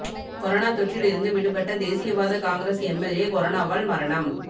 corona தொற்றில் இருந்து விடுபட்ட தேசியவாத காங்கிரஸ் எம்எல்ஏ கொரோனாவால் மரணம்